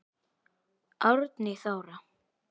Árný Þóra.